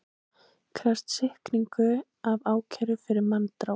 Krefst sýknu af ákæru fyrir manndráp